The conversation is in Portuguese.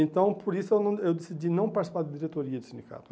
Então, por isso eu não eu decidi não participar de diretoria de sindicato.